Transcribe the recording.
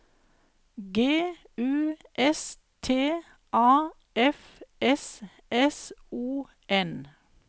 G U S T A F S S O N